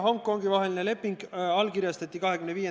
10 minutit vaheaega, istung jätkub kell 16.27.